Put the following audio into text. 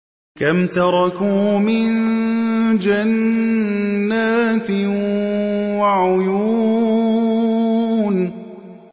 كَمْ تَرَكُوا مِن جَنَّاتٍ وَعُيُونٍ